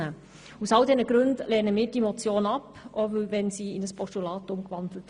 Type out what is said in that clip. Aus all diesen Gründen lehnen wir diesen Vorstoss ab und würden auch ein Postulat ablehnen.